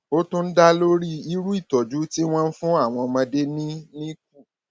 ó tún dá lórí irú ìtọjú tí wọn ń fún àwọn ọmọdé ní nicu